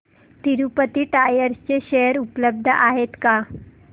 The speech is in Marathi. तिरूपती टायर्स चे शेअर उपलब्ध आहेत का